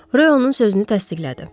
Reyo onun sözünü təsdiqlədi.